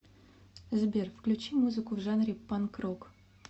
сбер включи музыку в жанре панк рок